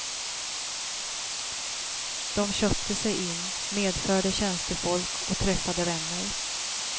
De köpte sig in, medförde tjänstefolk och träffade vänner.